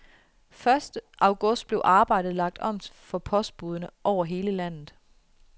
Første august blev arbejdet lagt om for postbudene over hele landet.